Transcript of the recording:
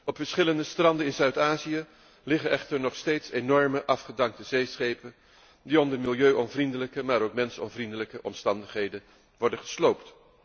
Op verschillende stranden in Zuid Azië liggen echter nog steeds enorme afgedankte zeeschepen die onder milieuonvriendelijke maar ook mensonvriendelijke omstandigheden worden gesloopt.